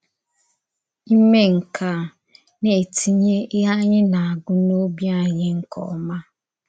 Ìmè nke a na-ètìnyè íhè ànyì na-agụ̀ n’òbì ànyì nke ọma.